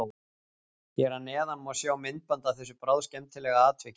Hér að neðan má sjá myndband af þessu bráðskemmtilega atviki.